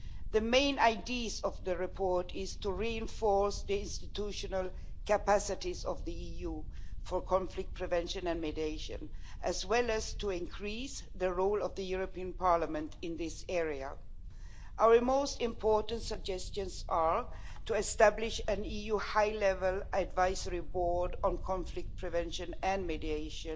The main idea of the report is to reinforce the institutional capacities of the EU for conflict prevention and mediation, as well as to increase the role of the European Parliament in this area. Our most important suggestions are to establish an EU High-Level Advisory Board on conflict prevention and mediation